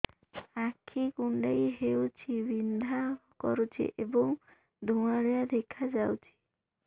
ଆଖି କୁଂଡେଇ ହେଉଛି ବିଂଧା କରୁଛି ଏବଂ ଧୁଁଆଳିଆ ଦେଖାଯାଉଛି